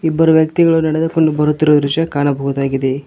ಇಬ್ಬರು ವ್ಯಕ್ತಿಗಳು ನಡೆದುಕೊಂಡು ಬರುತ್ತಿರುವ ದೃಶ್ಯ ಕಾಣಬಹುದಾಗಿದೆ.